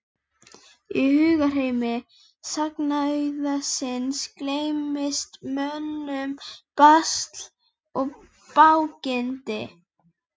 Í hugarheimi sagnaauðsins gleymdist mönnum basl og bágindi.